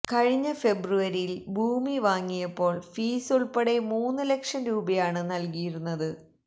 കഴിഞ്ഞ ഫെബ്രുവരിയില് ഭൂമി വാങ്ങിയപ്പോള് ഫീസുള്പ്പെടെ മൂന്ന് ലക്ഷം രൂപയാണ് നല്കിയിരുന്നത്